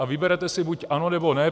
A vyberete si buď ano, nebo ne.